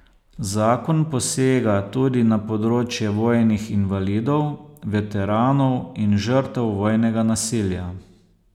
Zakon posega tudi na področje vojnih invalidov, veteranov in žrtev vojnega nasilja.